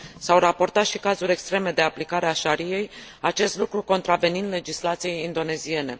S au raportat și cazuri extreme de aplicare a Shariei, acest lucru contravenind legislației indoneziene.